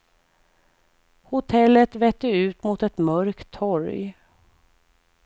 Hotellet vette ut mot ett mörkt torg.